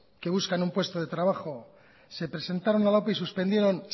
que buscan un puesto de trabajo se presentaron a la ope y suspendieron